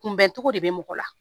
Kunbɛncogo de bɛ mɔgɔ la